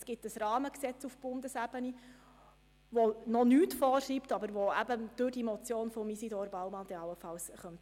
Es gibt auf Bundesebene ein Rahmengesetz, welches zwar noch nichts vorschreibt, jedoch infolge der Motion von Isidor Baumann angepasst werden könnte.